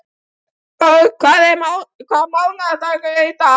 Borg, hvaða mánaðardagur er í dag?